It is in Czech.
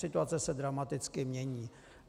Situace se dramaticky mění.